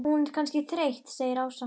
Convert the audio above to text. Hún er kannski þreytt segir Ása.